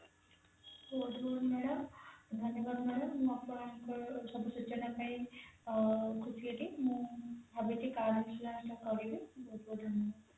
ଧନ୍ୟବାଦ madam ମୁଁ ଆପଣଙ୍କର ସବୁ ସୂଚନା ପାଇ ଅ ଖୁସି ହେଲି ମୁଁ ଭାବିଛି car insurance ତ କରିବି ବହୁତ ବହୁତ ଧନ୍ୟବାଦ